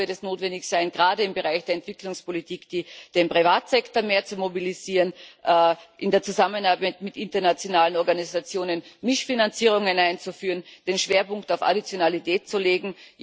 Dazu wird es notwendig sein, gerade im Bereich der Entwicklungspolitik den Privatsektor mehr zu mobilisieren, in der Zusammenarbeit mit internationalen Organisationen Mischfinanzierungen einzuführen, den Schwerpunkt auf Additionalität zu legen.